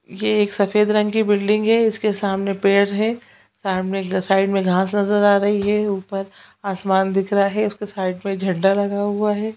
ये एक सफेद रंग की बिल्डिंग है इसके सामने पेड़ है सामने के साइड में घाँस नजर आ रही है ऊपर आसमान दिख रहा है उसके साइड में झंडा लगा हुआ है।